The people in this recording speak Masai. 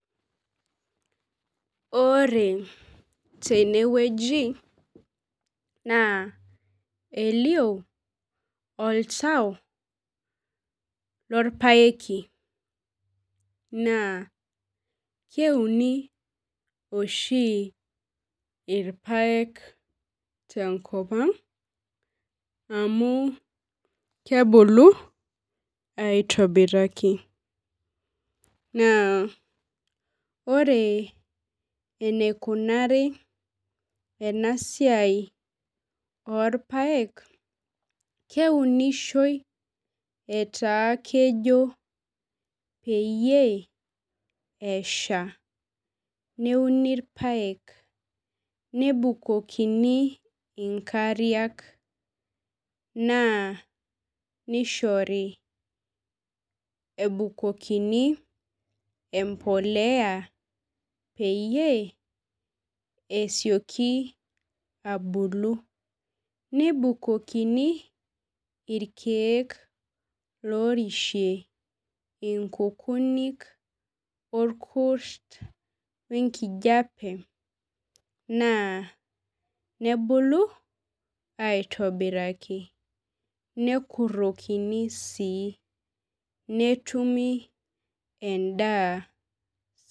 Ore tenewueji naa elio oltau lorpaeki naa keuni oshi irpaek tenkopang amu kebulu aitobiraki , naa ore eneikunari enasiai orpaek , keunishoi etaa kejo pee esha , neuni irpaek , nebukuni inkariak , naa nishoru ebukokini empolea peyie esioki abulu . Nebukokini irkiek orishie inkunik orkurt wenkijape naa nebulu aitobiraki nekuroki sii netumi endaa.